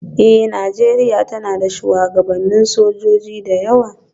Eh, Nijeriya tana da shugabannin sojoji da yawa.